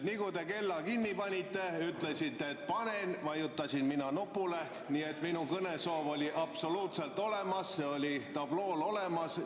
Nii nagu te kella kinni panite, ütlesite, et panete, vajutasin mina nupule, nii et minu kõnesoov oli absoluutselt olemas, see oli tablool olemas.